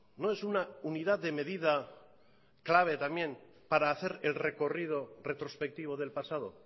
no es una unidad de medida clave también para hacer el recorrido retrospectivo del pasado